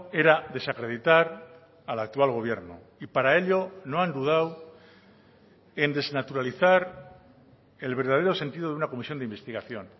era desacreditar al actual gobierno y para ello no han dudado en desnaturalizar el verdadero sentido de una comisión de investigación